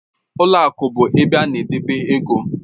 Ụlọ akụ bụ ebe a na-edebe ego